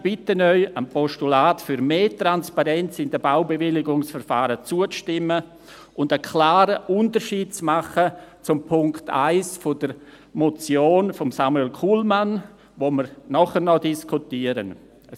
Ich bitte Sie, dem Postulat für mehr Transparenz in den Baubewilligungsverfahren zuzustimmen und einen klaren Unterschied zum Punkt 1 der Motion von Samuel Kullmann , die wir nachher noch diskutieren, zu machen.